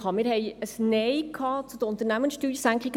Es gab ein Nein des Volkes zu den Unternehmenssteuersenkungen.